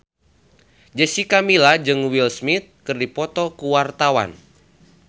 Jessica Milla jeung Will Smith keur dipoto ku wartawan